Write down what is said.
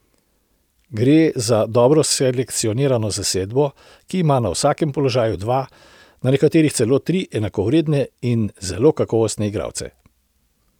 Gre za dobro selekcionirano zasedbo, ki ima na vsakem položaju dva, na nekaterih celo tri enakovredne in zelo kakovostne igralce.